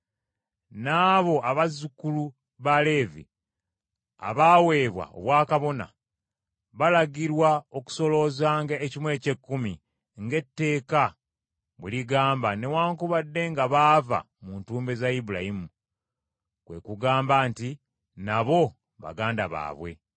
N’abo abazzukulu ba Leevi abaaweebwa obwakabona, balagirwa okusoloozanga ekimu eky’ekkumi ng’etteeka bwe ligamba, newaakubadde nga baava mu ntumbwe za Ibulayimu, kwe kugamba nti nabo baganda baabwe.